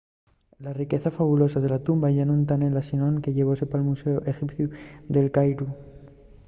la riqueza fabulosa de la tumba yá nun ta nella sinón que llevóse pal muséu exipciu d'el cairu